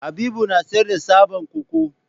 Habibu na sayar da tsaban koko.